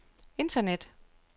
internet